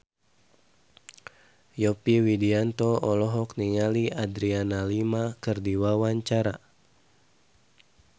Yovie Widianto olohok ningali Adriana Lima keur diwawancara